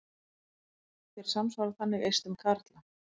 Þeir samsvara þannig eistum karla.